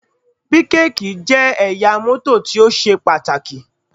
Bíkèkì jẹ́ ẹ̀yà mọ́tò tí ó ṣe pàtàkì